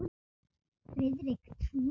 Friðrik trúði mér.